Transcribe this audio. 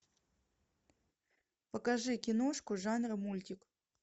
покажи киношку жанра мультик